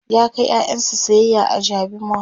ya kai ƴaƴansa sayayya a jabi mall